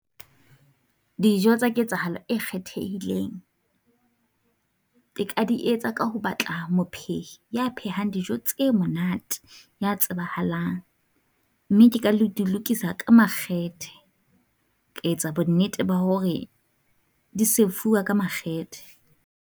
Dijo tsa ketsahalo e kgethehileng ke ka di etsa ka ho batla mophedi ya phehang dijo tse monate, ya tsebahalang. Mme ke ka le di lokisa ka makgethe, ke etsa bonnete ba hore di serve-uwa ka makgethe.